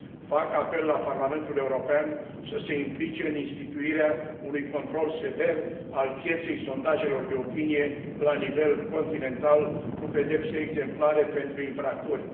Fac apel la Parlamentul European să se implice în instituirea unui control sever al pieței sondajelor de opinie la nivel continental, cu pedepse exemplare pentru infractori.